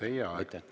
Teie aeg!